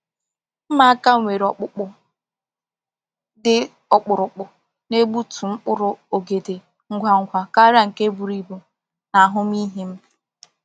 Mma aka nwere ọkpụkpụ dị ọkpụrụkpụ na-egbutu mkpụrụ ogede ngwa ngwa karịa nke buru ibu na ahụmịhe m.